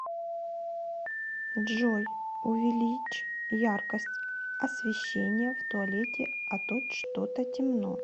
джой увеличь яркость освещения в туалете а то что то темно